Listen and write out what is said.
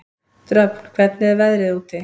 Dröfn, hvernig er veðrið úti?